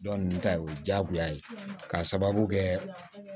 Dɔn ninnu ta ye o ye diyagoya ye k'a sababu kɛ